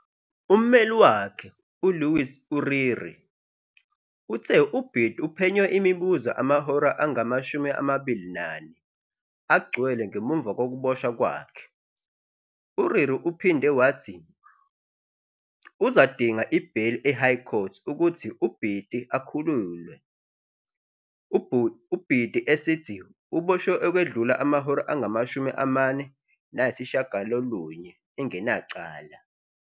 Ummeli wakhe, uLewis Uriri, uthe uBiti uphenywe imibuzo amahora angama-24 agcwele ngemuva kokuboshwa kwakhe, Uriri uphinde wathi uzadinga idale leHigh Court ukuthi uBiti akhulule uBiti esithi ubotshwe okwedlula amahola angamatshumi amane lasitshiyagalolunye engalacala.